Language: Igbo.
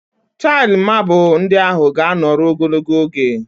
Tail mabụl ndị ahụ ga-anọrọ ogologo oge